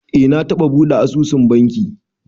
Eh, na taɓa buɗe asusun banki